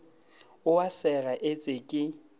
o a sega etse ke